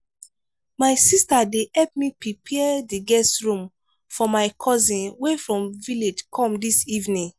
my sister dey help me prepare the guest room for my cousin wey from village come dis evening.